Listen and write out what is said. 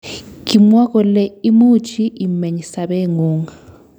Kimwa kole imuchii imeny sabeengung